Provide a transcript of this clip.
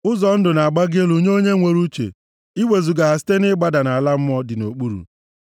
Ụzọ ndụ na-agbago elu nye onye nwere uche, iwezuga ha site na-ịgbada nʼala mmụọ dị nʼokpuru.